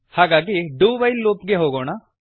ಹಾಗಾಗಿ do while loop ಗೆ ಹೋಗೋಣ